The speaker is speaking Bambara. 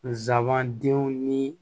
Nsabandenw ni